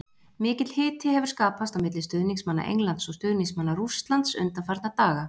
Mikill hiti hefur skapast á milli stuðningsmanna Englands og stuðningsmanna Rússland undanfarna daga.